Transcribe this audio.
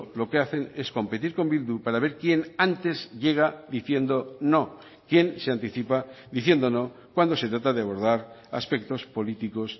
lo que hacen es competir con bildu para ver quién antes llega diciendo no quién se anticipa diciendo no cuando se trata de abordar aspectos políticos